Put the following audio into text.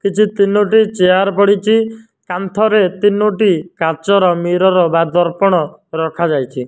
କିଛି ତିନୋଟି ଚେୟାର୍ ପଡ଼ିଚି କାନ୍ଥରେ ତିନୋଟି କାଚର ମିରର ଦର୍ପଣ ରଖାଯାଇଛି।